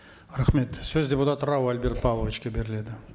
рахмет сөз депутат рау альберт павловичке беріледі